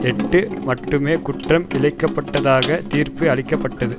எட்டு மட்டுமே குற்றம் இழைக்கப்பட்டதாக தீர்ப்பு அளிக்க பட்டது